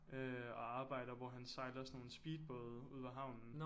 Øh og arbejder hvor han sejler sådan nogle speedbåde ude ved havnen